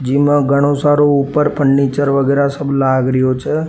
जिमो घणो सरो ऊपर फनीचर वगेरा सब लाग रियो छे।